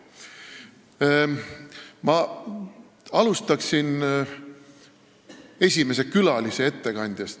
Aga ma alustan esimese külalise ettekandest.